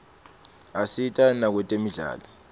asita nakwetemidlalo